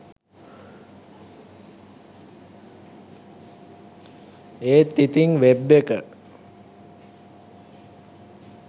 ඒත් ඉතිං වෙබ් එක